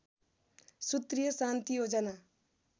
सूत्रीय शान्ति योजना